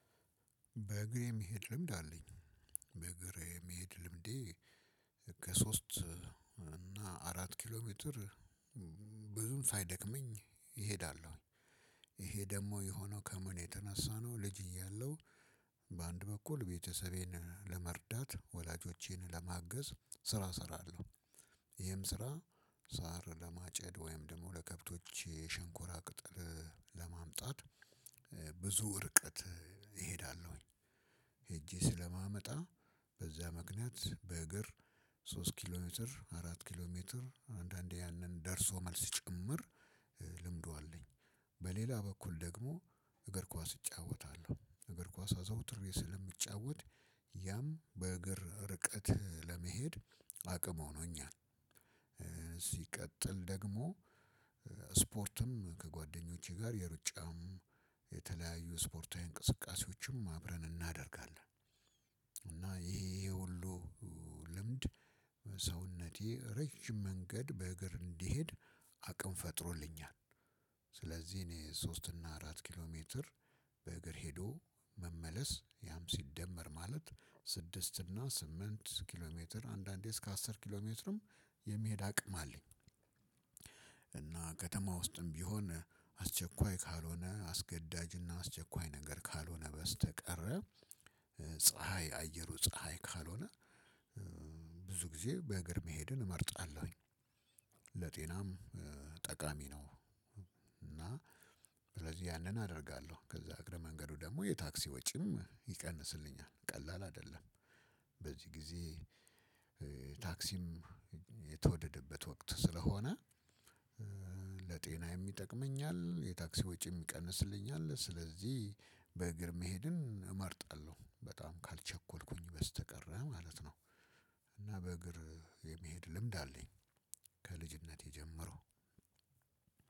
በእግሬ የሚሄድ ልምድ አለኝ በእግሬ የሚሄድ ልምዴ ከሶስት እና አራት ኪሎ ሜትር ብዙም ሳይደክመኝ እሄዳለሁኝ። ይሄ ደግሞ የሆነው ከምን የተነሳ ነው? ልጅ እያለሁ በአንድ በኩል ቤተሰቤን ለመርዳት ወላጆቼን ለማገዝ ስራ ሰራለው። ይህም ስራ ሳር ለማጨድ ወይም ደግሞ ለከብቶቼ ሸንኮራ ቅጥል ለማምጣት ብዙ እርቀት እሄዳለሁኝ። ሄጄ ስለማመጣ በዚያ ምክንያት በእግር ሶስት ኪሎ ሜትር አራት ኪሎ ሜትር አንዳንዴ ያንን ደርሶ መልስ ጭምር ልምዱ አለኝ። በሌላ በኩል ደግሞ እግር ኳስ እጫወታለሁ እግር ኳስ አዘውትሬ ስለምጫወት ያም በእግር ርቀት ለመሄድ አቅም ሆኖኛል። ሲቀጥል ደግሞ ስፖርትም ከጓደኞቼ ጋር የሩጫም የተለያዩ ስፖርታዊ እንቅስቃሴዎችም አብረን እናደርጋለን። እና ይሄ ይሄሁሉ ልምድ ሰውነቴ ረዥም መንገድ በእግር እንድሄድ አቅም ፈጥሮልኛል። ስለዚህ እኔ ሶስት እና አራት ኪሎ ሜትር በእግር ሄዶ መመለስ ያም ሲደመር ማለት ስድስት እና ስምንት ኪሎ ሜትር አንዳንዴ እስከ አስር ኪሎ ሜትርም የሚሄድ አቅም አለኝ። እና ከተማ ውስጥም ቢሆን አስቸኳይ ካልሆነ አስገዳጅና አስቸኳይ ነገር ካልሆነ በስተቀር ፀሀይ አየሩ ፀሀይ ካልሆነ ብዙ ጊዜ በእግር መሄድን እመርጣለሁኝ። ለጤናም ጠቃሚ ነው። እና ስለዚህ ያንን አደርጋለሁ ከዛ አግረ መንገዱ ደግሞ የታክሲ ወጪም ይቀንስልኛል ቀላል አይደለም። በዚህ ጊዜ ታክሲም የተወደደበት ወክት ስለሆነ ለጤናዬም ይጠቅመኛል የታክሲ ወጪ ይቀንስልኛል። ስለዚህ በእግር መሄድን እመርጣለሁ በጣም ካልቸኮልኩኝ በስተቀር ማለት ነው። እና በእግር የመሄድ ልምድ አለኝ ከልጅነቴ ጀምሮ።